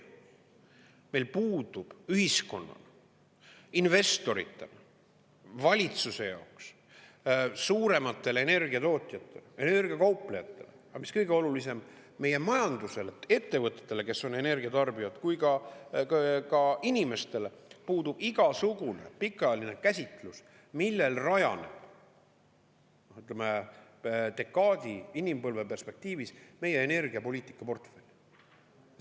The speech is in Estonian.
Meil puudub ühiskonnana investoritele, valitsuse jaoks suurimatele energia tootjatele, energia kauplejatele, aga mis kõige olulisem, nii meie majandusele ja ettevõtetele, kes on energia tarbijad, kui ka inimestele puudub igasugune pikaajaline käsitlus, millel rajaneb, ütleme, dekaadi inimpõlve perspektiivis meie energiapoliitika portfell.